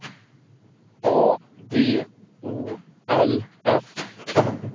A D O L F